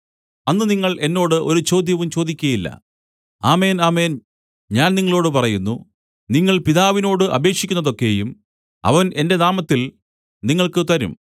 അന്ന് നിങ്ങൾ എന്നോട് ഒരു ചോദ്യവും ചോദിക്കയില്ല ആമേൻ ആമേൻ ഞാൻ നിങ്ങളോടു പറയുന്നു നിങ്ങൾ പിതാവിനോട് അപേക്ഷിക്കുന്നതൊക്കെയും അവൻ എന്റെ നാമത്തിൽ നിങ്ങൾക്ക് തരും